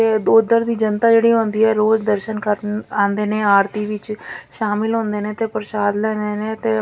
ਤੇ ਉਧਰ ਦੀ ਜਨਤਾ ਜਿਹੜੀ ਆਉਂਦੀ ਹੈ ਰੋਜ਼ ਦਰਸ਼ਨ ਕਰਨ ਆਉਂਦੇ ਨੇ ਆਰਤੀ ਵਿੱਚ ਸ਼ਾਮਿਲ ਹੁੰਦੇ ਨੇ ਤੇ ਪ੍ਰਸ਼ਾਦ ਲੈ ਰਹੇ ਨੇ ਤੇ--